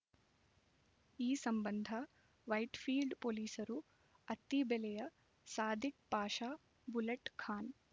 ಈ ಸಂಬಂಧ ವೈಟ್‌ಫೀಲ್ಡ್ ಪೊಲೀಸರು ಅತ್ತಿಬೆಲೆಯ ಸಾದಿಕ್ ಪಾಷ ಬುಲೆಟ್ ಖಾನ್